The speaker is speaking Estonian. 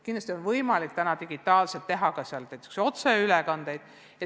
Kindlasti on võimalik sellest digitaalselt teha näiteks otseülekandeid.